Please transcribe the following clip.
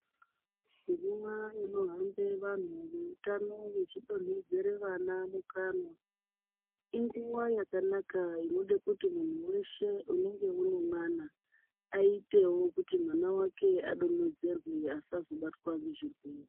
Nguva inohamba vantu vehutano veidonhedzera vana mukanwa inguwa yakanaka inoda kuti munhu weshe unenge une mwana aitewo kuti mwana wake adonhedzerwe asazobatwa nezvirwere.